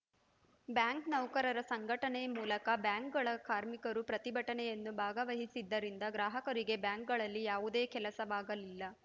bank ನೌಕರರ ಸಂಘಟನೆ ಮೂಲಕ ಬ್ಯಾಂಕ್‌ಗಳ ಕಾರ್ಮಿಕರೂ ಪ್ರತಿಭಟನೆಯಲ್ಲಿ ಭಾಗವಹಿಸಿದ್ದರಿಂದ ಗ್ರಾಹಕರಿಗೆ ಬ್ಯಾಂಕ್‌ಗಳಲ್ಲಿ ಯಾವುದೇ ಕೆಲಸವಾಗಲಿಲ್ಲ